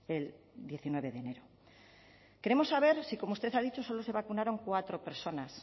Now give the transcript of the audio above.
el diecinueve de enero queremos saber si como usted ha dicho solo se vacunaron cuatro personas